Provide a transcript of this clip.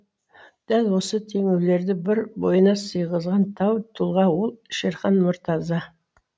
дәл осы теңеулерді бір бойына сыйғызған тау тұлға ол шерхан мұртаза